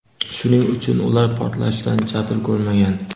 shuning uchun ular portlashdan jabr ko‘rmagan.